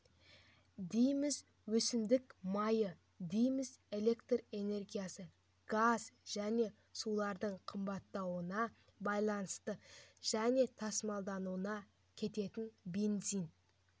дейміз өсімдік майы дейміз электр энергиясы газ және сулардың қымбаттауына байланысты және тасымалдауға кететін бензин